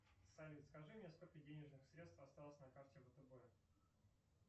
салют скажи мне сколько денежных средств осталось на карте втб